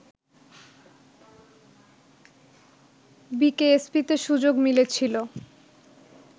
বিকেএসপিতে সুযোগ মিলেছিল